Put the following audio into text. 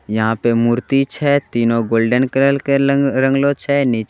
यहा पे मूर्ति छे तीनों गोल्डन कलर के लंगलो -रंगलों छे नीचे--